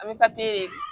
An bɛ papiye